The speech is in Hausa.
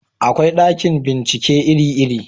akwai ɗakin bincike iri iri